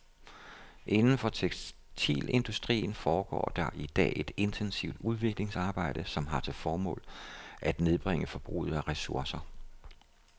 Inden for tekstilindustrien foregår i dag et intensivt udviklingsarbejde, som har til formål at nedbringe forbruget af ressourcer.